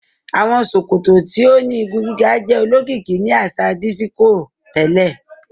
Awọn sòkòtò tíó ní ìgún-gigà jẹ òlókìkì ní aṣa dísíkò tẹlẹ